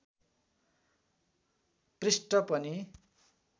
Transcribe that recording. पृष्ठ पनि